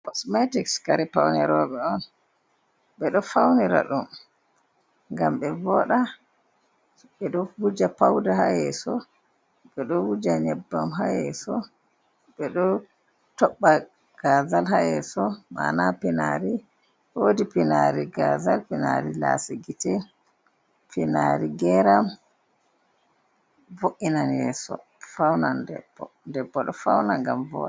Kosmetiks kare paune roɓe on, ɓeɗo faunira ɗum ngam ɓevoɗa, ɓeɗo wuja pauda hayeso, ɓeɗo wuja nyebbam hayeso, ɓeɗo toɓɓa gazal hayeso mana pinari, wodi pinari gazal, pinari lasigiti, pinari geram vo’inan yeso faunan debbo. debbo ɗo fauna ngam voɗa.